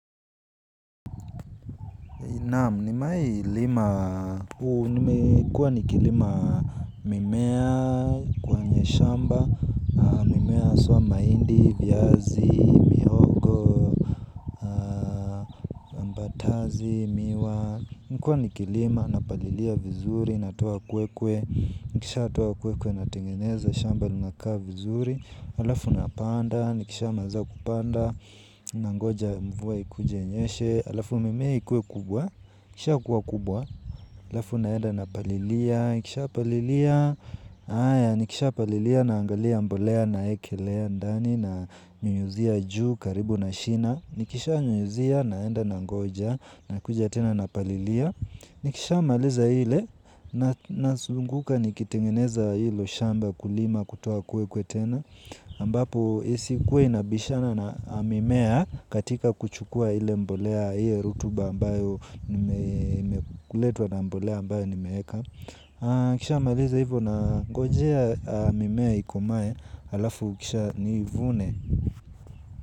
Naam nima ilima, huu nime kuwa nikilima mimea, shamba mimea haswa mahindi viazi, mihogo, ambatazi, miwa nikuwa nikilima, napalilia vizuri, natoa kwekwe, nikisha natoa kwekwe na tengeneza, shamba lina kaa vizuri, alafu napanda, nikisha maliza kupanda, nangoja mvua ikuje inyeshe, alafu mimea ikuwe kubwa, kisha kuwa kubwa, alafu naenda napalilia, nikisha palilia, haya. Nikisha palilia na angalia mbolea na ekelea ndani na nyunyuzia juu karibu na shina. Nikisha nyunyuzia na enda na ngoja na kuja tena na palilia. Nikisha maliza hile na sunguka nikitengeneza hilo shamba kulima kutoa kwe kwe tena ambapo isi kuwe inabishana na mimea katika kuchukua ile mbolea hio rutuba ambayo nime kuletwa na mbolea ambayo ni meeka. Kisha maliza hivyo na gojea mimea ikomae. Alafu kisha niivune.